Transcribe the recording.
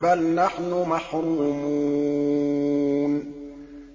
بَلْ نَحْنُ مَحْرُومُونَ